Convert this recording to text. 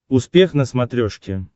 успех на смотрешке